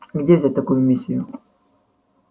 где взять такую миссию